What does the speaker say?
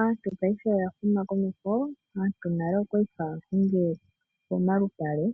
Aantu paife oya huma komeho, aantu nale okwali haa hungile poshinyanga